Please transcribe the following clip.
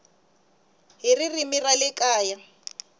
hi ririmi ra le kaya